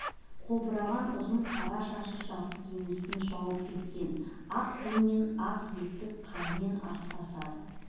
қобыраған ұзын қара шашы жарты денесін жауып кеткен ақ тон мен ақ етік қармен астасады